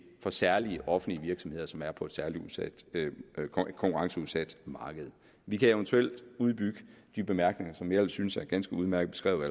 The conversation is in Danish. for særlige offentlige virksomheder som er på et særlig konkurrenceudsat marked vi kan eventuelt udbygge de bemærkninger som jeg ellers synes er ganske udmærket beskrevet